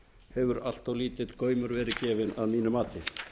hefur allt of lítill gaumur verið gefinn að mínu mati